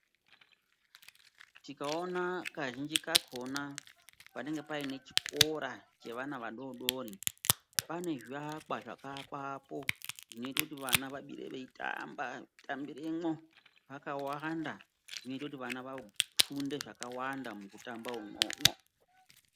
Tingaona kazhinji kakhona panenge pane chikora chevana vadodori pane zviakwa zvakaakwapo zvinoita kuti vana vatambiremwo vakawanda zvinoita kuti vana vafunde zvakawanda mukutamba umwomwo.